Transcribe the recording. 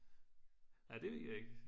ja det ved jeg ik